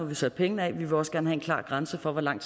vi sat pengene af vi vil også gerne have en klar grænse for hvor lang